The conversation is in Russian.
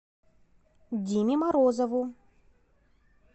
диме морозову